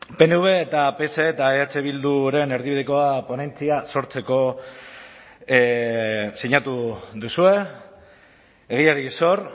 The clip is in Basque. pnv eta pse eta eh bilduren erdibidekoa ponentzia sortzeko sinatu duzue egiari zor